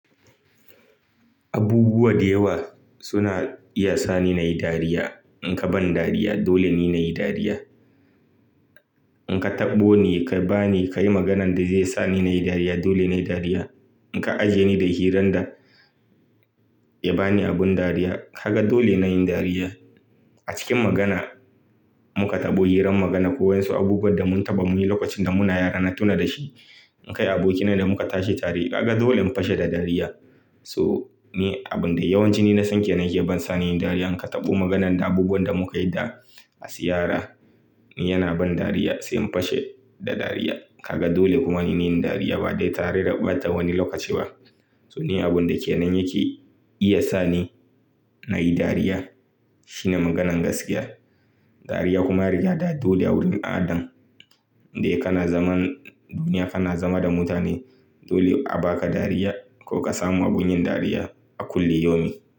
Abubuwa da yawa suna iya sa ni nayi dariya. In ka ban dariya dole ne nayi dariya. In ka taɓo ni ka bani, ka yi maganan da zai sa ni nayi dariya dole nayi dariya. In ka ajiye ni da hirar da ya bani abin dariya, kaga dole na yi dariya. A cikin magana muka taɓo hirar magana ko wasu abubuwa da mun taɓa muyi lokacin da muna yara na tuna da shi. In kai abokina da muka tashi tare, kaga dole mu fashe da dariya. So! Ni abin da yawanci na san ke, bani nayi dariya. In ka taɓo maganan da abubuwan da muka yi da ziyara, ni yana ban dariya sai mun fashe da dariya. Kaga dole kuma ni nayi dariya ba dai tare da ɓata wani lokaci ba. To ni abin da ke nan yake iya sa ni nayi dariya shine maganan gaskiya. Dariya kuma an riga da dole a wurin al ada da kana zaman duniya, kana zama da mutane. Dole a baka dariya ko ka samu abun yin dariya a kulli yomi.